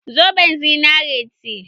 Zoben zinari ce.